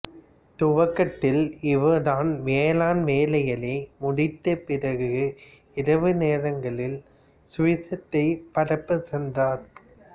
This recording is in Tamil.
துவக்கத்தில் இவர் தன் வேளாண் வேலைகள் முடித்தப் பிறகு இரவு நேரங்களில் சுவிசேஷத்தைப் பரப்பச் சென்றார்